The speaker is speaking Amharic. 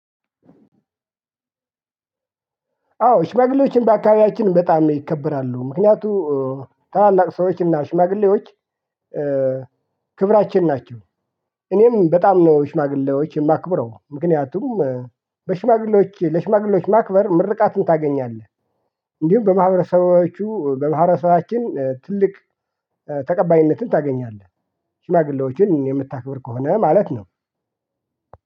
አዎ ሽማግሌዎችን በአካባቢያችን በጣም ይከበራሉ ምክንያቱም ታላላቅ ሰዎችና ሽማግሌዎች ክብራችን ናቸው። እኔም በጣም ነው ሽማግሌዎች የማክብረው ምክንያቱም በሽማግሌዎች ለሽማግሌዎች ማክበር ምርቃትን ታገኛለህ። እንዲሁም በማህረሰባችን ትልቅ ተቀባይነትን ታገኛለህ። ሽማግሌዎችን የምታክብር ከሆነ ማለት ነው።